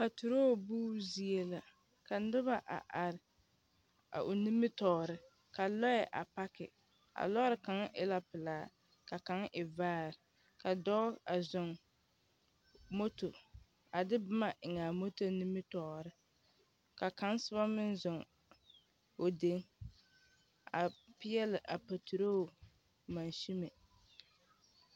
Pateroo buubu zie la. Ka noba a are a o nimitɔɔre , ka lɔɛ a pake. A lɔɔre kaŋa e la pelaa. Ka kaŋ e vaare. Ka dɔɔ a zɔŋ moto, a de boma eŋ a moto nimitɔɔre ka kaŋ soba meŋ zɔŋ o deni a peɛle a patiroo masime.